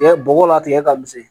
bɔgɔ la tigɛ ka misɛn